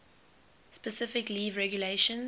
specific legal regulations